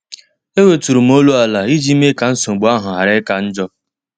E weturum olum ala iji mee ka nsogbu ahụ ghara ika njọ.